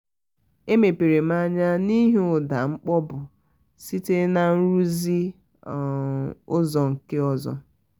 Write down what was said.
e mepere m anya n'ihi ụda mkpọpu site na nruzi um ụzọ nke ọzọ